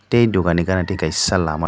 tei aw dukan ni gana tai kaisa lama--